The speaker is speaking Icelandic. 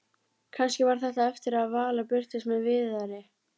Kannski var það eftir að Vala birtist með Viðari.